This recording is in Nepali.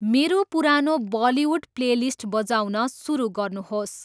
मेरो पुरानो बलिउड प्लेलिस्ट बजाउन सुरु गर्नुहोस्।